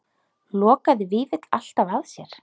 Lokaði Vífill alltaf að sér?